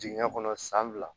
Jigin kɔnɔ san fila